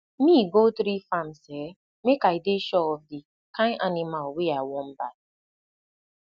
me go three farms um make i dey sure of the kind animal wey i won buy